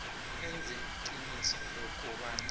enze iqiniso lokobana